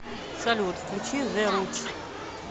салют включи зэ рутс